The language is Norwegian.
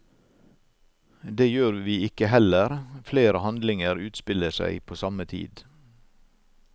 Det gjør vi ikke heller, flere handlinger utspiller seg på samme tid.